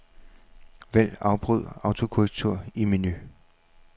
Vælg afbryd autokorrektur i menu.